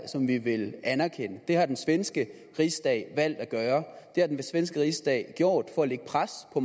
som vi vil anerkende det har den svenske rigsdag valgt at gøre har den svenske rigsdag gjort for at lægge pres på